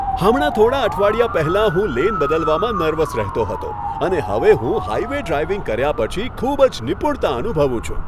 હમણાં થોડા અઠવાડિયા પહેલા, હું લેન બદલવામાં નર્વસ રહેતો હતો અને હવે હું હાઈવે ડ્રાઈવિંગ કર્યા પછી ખૂબ જ નિપુણતા અનુભવું છું!